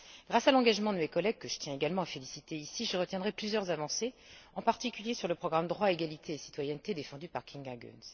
Grâce à l'engagement de mes collègues, que je tiens également à féliciter ici, je retiendrai plusieurs avancées, en particulier sur le programme Droits, égalité et citoyenneté, défendu par Kinga Göncz.